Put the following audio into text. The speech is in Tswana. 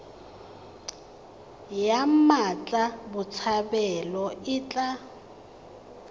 ya mmatla botshabelo e tla